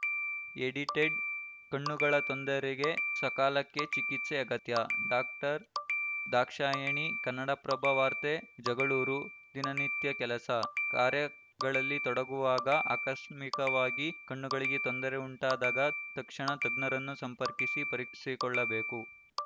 edited ಕಣ್ಣುಗಳ ತೊಂದರೆಗೆ ಸಕಾಲಕ್ಕೆ ಚಿಕಿತ್ಸೆ ಅಗತ್ಯಡಾಕ್ಟರ್ ದಾಕ್ಷಾಯಣಿ ಕನ್ನಡಪ್ರಭ ವಾರ್ತೆ ಜಗಳೂರು ದಿನಿತ್ಯ ಕೆಲಸ ಕಾರ್ಯಗಳಲ್ಲಿ ತೊಡಗುವಾಗ ಆಕಸ್ಮಿಕವಾಗಿ ಕಣ್ಣುಗಳಿಗೆ ತೊಂದರೆ ಉಂಟಾದಾಗ ತಕ್ಷಣ ತಜ್ಞರನ್ನು ಸಂಪರ್ಕಿಸಿ ಪರೀಕ್ಷಿಸಿಕೊಳ್ಳಬೇಕು